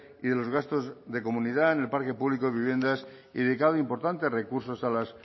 y de los gastos de comunidad en el parque público de viviendas y dedicado importantes recursos a las